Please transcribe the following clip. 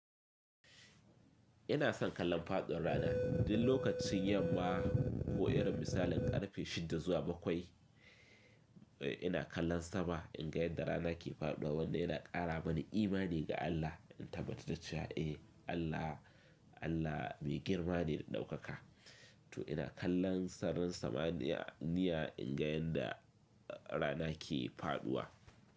Ina son kallon faɗin rana, duk lokacin yamma ko irin misalin ƙarfe shida zuwa bakwai ina kallon sama in ga yadda rana ke faɗuwa wanda yana ƙara mani imani ga Allah in tabbatar da cewa eh Allah mai girma ne da ɗaukaka. To ina kallon sarin samaniya niya in ga yadda rana ke faɗuwa.